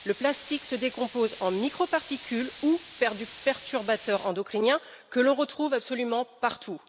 Le plastique se décompose en microparticules ou en perturbateurs endocriniens que l'on retrouve absolument partout.